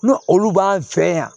N'o olu b'an fɛ yan